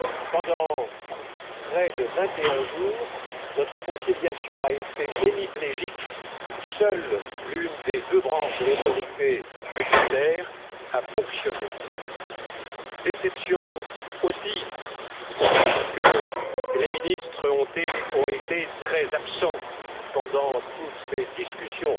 Pendant près de 21 jours, notre conciliation a été hémiplégique, seule l'une des deux branches de l'autorité budgétaire a fonctionné. C'est aussi une déception parce que les ministres ont été très absents pendant toutes ces discussions.